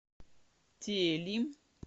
тели